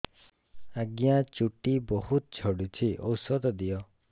ଆଜ୍ଞା ଚୁଟି ବହୁତ୍ ଝଡୁଚି ଔଷଧ ଦିଅ